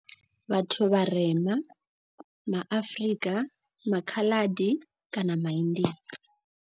Vhathu vharema ma Afrika, ma Khaladi kana ma India.